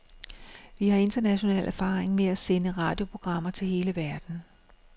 Vi har international erfaring med at sende radioprogrammer til hele verden.